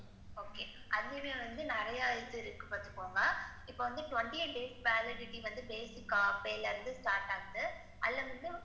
Okay அது வந்து நிறையா இது இருக்கு பாத்துக்கோங்க. இப்ப வந்து, twenty eight days validity வந்து basic ஆஹ் pay ல இருந்து start ஆகுது அதுல வந்து,